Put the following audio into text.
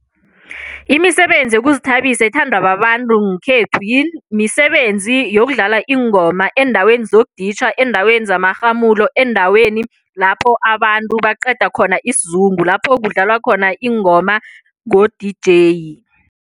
Imisebenzi yokuzithabisa ethandwa babantu nkhethu misebenzi yokudlala iingoma eendaweni zokuditjha, eendaweni zamarhamulo, eendaweni lapho abantu baqeda khona isizungu lapho kudlalwa khona ingoma ngo-D_J.